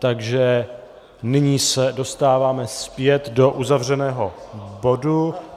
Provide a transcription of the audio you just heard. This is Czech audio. Takže nyní se dostáváme zpět do uzavřeného bodu.